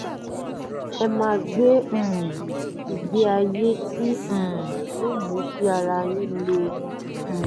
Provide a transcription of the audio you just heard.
ẹ máa gbé um ìgbé ayé tí um yóò mú kí ara yín le um